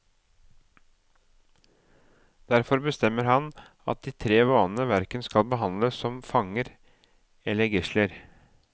Derfor bestemmer han at de tre vanene hverken skal behandles som fanger eller gisler.